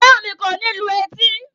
Feranmi kò ní lù etí